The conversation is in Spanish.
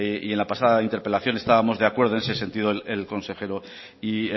y en la pasada interpelación estábamos de acuerdo en ese sentido el consejero y